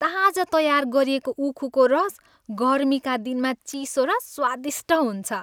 ताजा तयार गरिएको उखुको रस गर्मीका दिनमा चिसो र स्वादिष्ट हुन्छ।